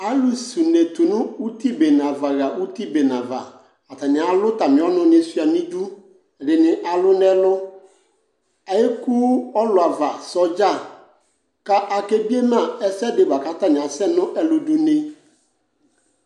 Alʋ s'une tu n'uti bene ava ɣa uti bene ava: atanɩ alʋ atamɩ ɔnʋnɩ sʋɩa n'idu , ɛdɩnɩ alʋ n'ɛlʋ Eku ɔlʋavasɔdza ; ka akebiema ɛsɛdɩ la k'atanɩ asɛ ɛlʋdʋne